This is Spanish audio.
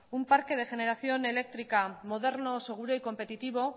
un parque de generación eléctrica moderno seguro y competitivo